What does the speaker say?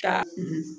Ca